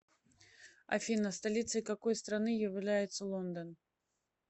афина столицей какой страны является лондон